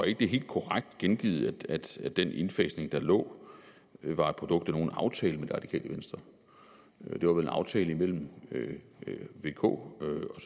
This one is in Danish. ikke det er helt korrekt gengivet at at den indfasning der lå var et produkt af en aftale med det radikale venstre det var vel en aftale mellem vk